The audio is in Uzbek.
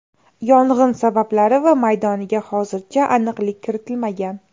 Yong‘in sabablari va maydoniga hozircha aniqlik kiritilmagan.